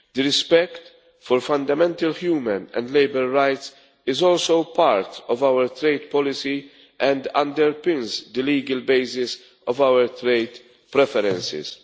Respect for fundamental human and labour rights is also part of our trade policy and underpins the legal basis of our trade preferences.